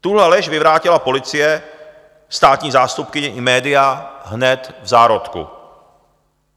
Tuhle lež vyvrátila policie, státní zástupkyně i média hned v zárodku.